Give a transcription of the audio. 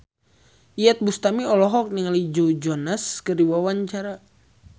Iyeth Bustami olohok ningali Joe Jonas keur diwawancara